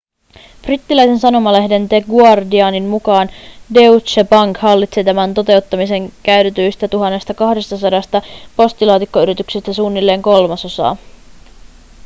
brittiläisen sanomalehden the guardianin mukaan deutsche bank hallitsi tämän toteuttamiseen käytetyistä 1 200 postilaatikkoyrityksestä suunnilleen kolmasosaa